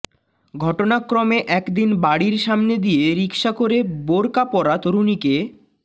ঘটনাক্রমে একদিন বাড়ীর সামনে দিয়ে রিকশা করে বোরকা পরা তরুণীকে